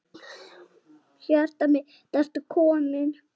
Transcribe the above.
Hjartað mitt, ertu kominn?